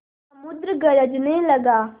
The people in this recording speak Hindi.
समुद्र गरजने लगा